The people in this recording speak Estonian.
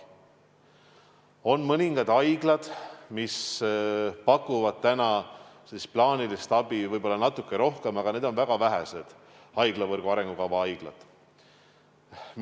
On mõningad haiglad, mis pakuvad praegu plaanilist abi võib-olla natuke rohkem, aga need on väga vähesed haiglavõrgu arengukava haiglad.